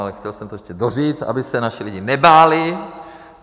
Ale chtěl jsem to ještě doříct, aby se naši lidi nebáli.